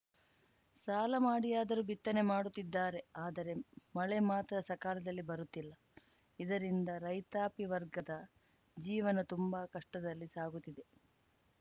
ಸಾಲ ಮಾಡಿಯಾದರೂ ಬಿತ್ತನೆ ಮಾಡುತ್ತಿದ್ದಾರೆ ಆದರೆ ಮಳೆ ಮಾತ್ರ ಸಕಾಲದಲ್ಲಿ ಬರುತ್ತಿಲ್ಲ ಇದರಿಂದ ರೈತಾಪಿ ವರ್ಗದ ಜೀವನ ತುಂಬಾ ಕಷ್ಟದಲ್ಲಿ ಸಾಗುತ್ತಿದೆ